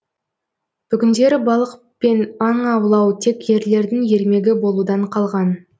бүгіндері балық пен аң аулау тек ерлердің ермегі болудан қалған